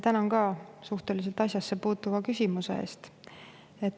Tänan ka asjasse puutuva küsimuse eest!